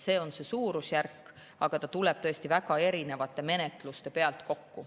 See on see suurusjärk, aga see tuleb tõesti väga erinevate menetluste pealt kokku.